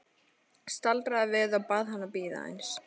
Staldraði við og bað hann að bíða aðeins.